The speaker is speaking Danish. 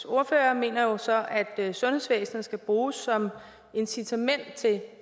ordfører mener jo så at sundhedsvæsenet skal bruges som incitament til